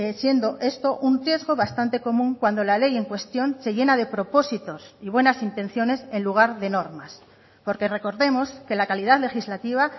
siendo esto un texto bastante común cuando la ley en cuestión se llena de propósitos y buenas intenciones en lugar de normas porque recordemos que la calidad legislativa